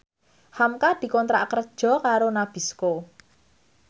hamka dikontrak kerja karo Nabisco